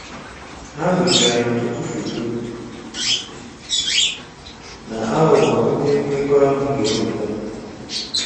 Ha gosiri anyị ọtụtụ foto na aghụghọ ndị mmekọahụ ga-eweta.